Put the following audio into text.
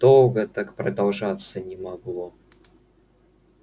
долго так продолжаться не могло